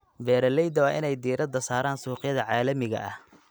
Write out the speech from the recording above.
Beeralayda waa in ay diiradda saaraan suuqyada caalamiga ah.